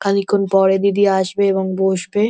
খানিকক্ষণ পরে দিদিরা আসবে এবং বসবে।